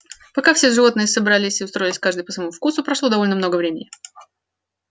пока все животные собрались и устроились каждый по своему вкусу прошло довольно много времени